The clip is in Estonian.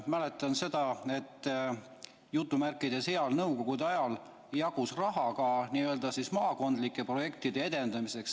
Mäletan seda, et "heal" nõukogude ajal jagus raha ka maakondlike projektide edendamiseks.